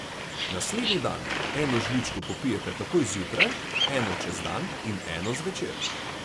Naslednji dan eno žličko popijete takoj zjutraj, eno čez dan in eno zvečer.